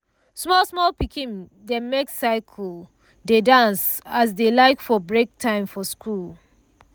small small pikin dem make circle dey dance as dey like for breaktime for school.